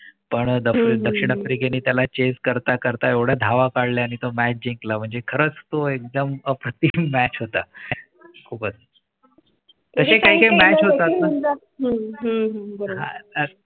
पण दक्षिण आफ्रिके ने त्याला chase करता करता एवढ्या धावा काढल्या आणि तो match जिकला म्हणजे खर्च तो एकदम प्रती match होता. खूपच . तसे काही match होतात . हम्म हम्म बारोबार